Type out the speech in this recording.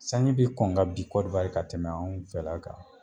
Sanji be kɔn ka bin korowari ka tɛmɛ anw fɛla kan